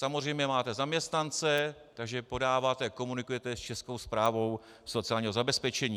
Samozřejmě máte zaměstnance, takže podáváte, komunikujete ještě se Správou sociálního zabezpečení.